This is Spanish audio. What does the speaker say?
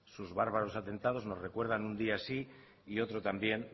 sus bárbaros atentados nos recuerdan un día sí y otro también